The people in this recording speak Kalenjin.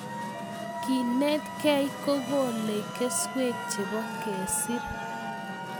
kenetkei kokolei keswek chebo kesiir